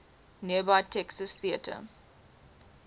nearby texas theater